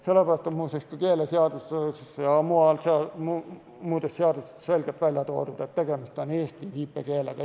Sellepärast on ka keeleseaduses ja muudes seadustes selgelt välja toodud, et tegemist on eesti viipekeelega.